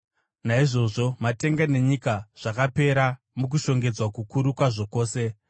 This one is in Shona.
Naizvozvo matenga nenyika zvakapera mukushongedzwa kukuru kwazvo kwose.